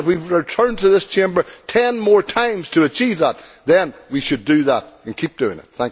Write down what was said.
If we return to this Chamber ten more times to achieve that, then we should do that and keep doing it.